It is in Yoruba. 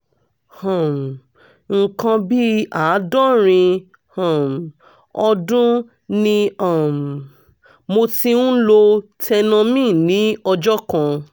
um nǹkan bí àádọ́rin um ọdún ni um mo ti ń lo tenormin ní ọjọ́ kan